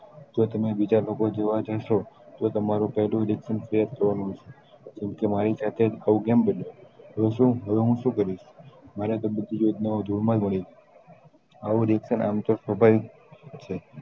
જો તમી બીજા લોકો જોવા જાસો તો તમારું પેહલું reaction કેમ કે મારી સાથે આવું કેમ બન્યો તો શું હવે હું શું કરીશ મારે તો આવું reaction આમતો તો ભાઈ થશે